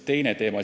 Teine teema.